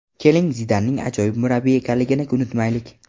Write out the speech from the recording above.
Keling, Zidanning ajoyib murabbiy ekanligini unutmaylik.